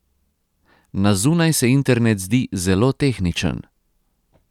Na zunaj se internet zdi zelo tehničen.